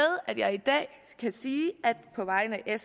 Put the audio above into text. at jeg i dag på vegne af